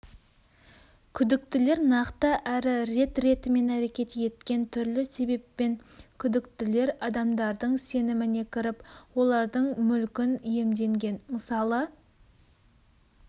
күдіктілер нақты әрі рет-ретімен әрекет еткен түрлі себеппен күдіктілер адамдардың сеніміне кіріп олардың мүлкін иемденген мысалы